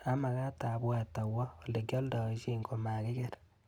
Amakat abwat awo olekyaldaishe komakiker.